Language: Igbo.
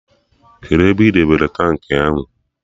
Kedụ ebe ị debere tankị ahụ?